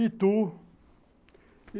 Itu.